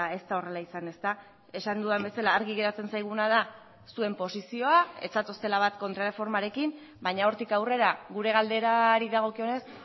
ez da horrela izan esan dudan bezala argi geratzen zaiguna da zuen posizioa ez zatoztela bat kontrarreformarekin baina hortik aurrera gure galderari dagokionez